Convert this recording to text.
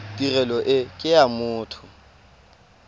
tirelo e ke ya motho